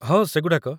ହଁ, ସେଗୁଡ଼ାକ ।